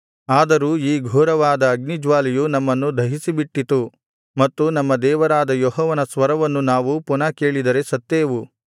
ಆದರೂ ಈ ಘೋರವಾದ ಅಗ್ನಿಜ್ವಾಲೆಯು ನಮ್ಮನ್ನು ದಹಿಸಿ ಬಿಟ್ಟಿತು ಮತ್ತು ನಮ್ಮ ದೇವರಾದ ಯೆಹೋವನ ಸ್ವರವನ್ನು ನಾವು ಪುನಃ ಕೇಳಿದರೆ ಸತ್ತೇವು